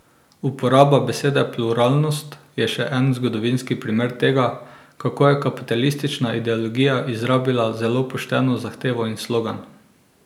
Uporaba besede pluralnost je še en zgodovinski primer tega, kako je kapitalistična ideologija izrabila zelo pošteno zahtevo in slogan.